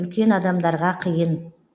үлкен адамдарға қиын